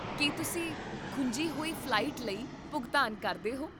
ਕੀ ਤੁਸੀਂ ਖੁੰਝੀ ਹੋਈ ਫ਼ਲਾਈਟ ਲਈ ਭੁਗਤਾਨ ਕਰਦੇ ਹੋ?